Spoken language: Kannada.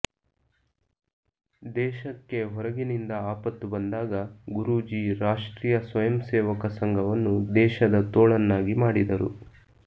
ದೇಶಕ್ಕೆ ಹೊರಗಿನಿಂದ ಆಪತ್ತು ಬಂದಾಗ ಗುರೂಜಿ ರಾಷ್ಟ್ರೀಯ ಸ್ವಯಂ ಸೇವಕ ಸಂಘವನ್ನು ದೇಶದ ತೋಳನ್ನಾಗಿ ಮಾಡಿದರು